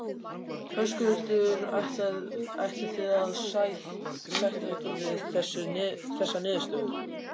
Höskuldur: Ætlið þið að sætta ykkur við þessa niðurstöðu?